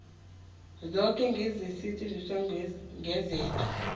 zoke ngesaziso kugazethe